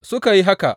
Suka yi haka.